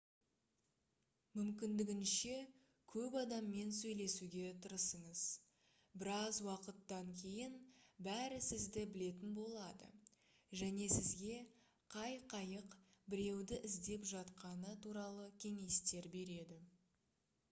мүмкіндігінше көп адаммен сөйлесуге тырысыңыз біраз уақыттан кейін бәрі сізді білетін болады және сізге қай қайық біреуді іздеп жатқаны туралы кеңестер береді